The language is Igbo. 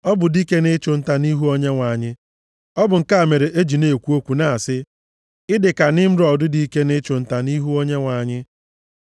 Ọ bụ dike nʼịchụ nta, nʼihu Onyenwe anyị. Ọ bụ nke a mere e ji na-ekwu okwu na-asị, “Ị dị ka Nimrọd, dike nʼịchụ nta, nʼihu Onyenwe anyị.”